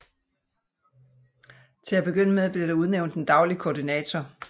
Til at begynde med blev der udnævnt en daglig koordinator